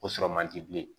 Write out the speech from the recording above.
O sɔrɔ man di bilen